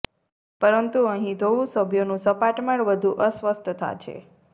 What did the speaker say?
પરંતુ અહીં ધોવું સભ્યોનું સપાટ માળ વધુ અસ્વસ્થતા છે